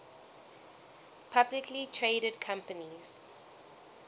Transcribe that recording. publicly traded companies